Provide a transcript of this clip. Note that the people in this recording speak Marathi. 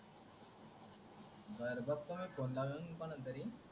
बरं बगतो मी phone लाऊन कोणाला तरी